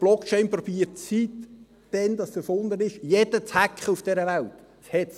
Seit es erfunden worden ist, versucht jeder auf dieser Welt Blockchain zu hacken.